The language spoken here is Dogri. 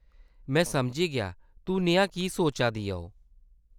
में समझी गेआ। तूं नेहा की सोचा दियां ओ ?